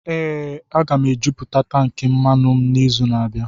Ee, m ga-ejupụta tankị mmanụ m n'izu na-abịa.